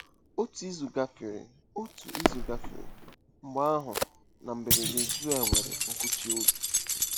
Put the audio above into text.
Otu izu gafere Otu izu gafere. Mgbe ahụ, na mberede, Joel nwere nkụchi obi.